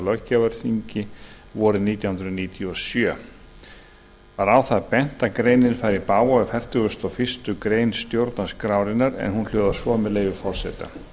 löggjafarþingi vorið nítján hundruð níutíu og sjö var á það bent að greinin færi í bága við fertugasta og fyrstu grein stjórnarskrárinnar en hún hljóðar svo með leyfi forseta